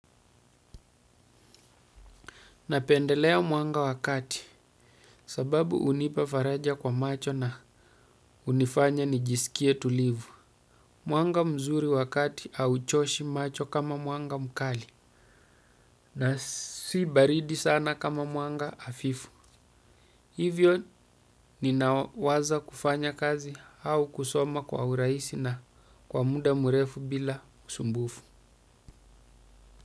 Napendelea mwanga wa kati sababu unipa faraja kwa macho na unifanya nijisikie tulivu. Mwanga mzuri wakati au choshi macho kama mwanga mkali na si baridi sana kama mwanga hafifu. Hivyo ninawaza kufanya kazi au kusoma kwa uraisi na kwa muda mrefu bila usumbufu.